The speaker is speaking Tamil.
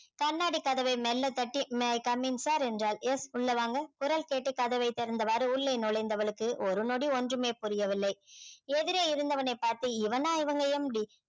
கண்ணாடி கதவை மெல்ல தட்டி may i come in sir என்றாள் yes உள்ள வாங்க குரல் கேட்டு கதவை திறந்தவாறு உள்ளே நுழைந்தவளுக்கு ஒரு நொடி ஒன்றுமே புரியவில்லை எதிரே இருந்தவனை பார்த்து இவனா இவங்க MD